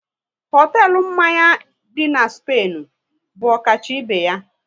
Hotelu mmanya dị na Spainu bụ ọkacha ibe ya